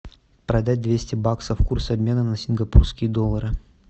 продать двести баксов курс обмена на сингапурские доллары